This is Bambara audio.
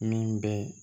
Min bɛ